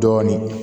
Dɔɔnin